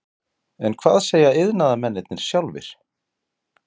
En hvað segja iðnaðarmennirnir sjálfir?